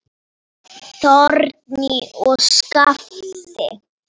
Þórný og Skafti.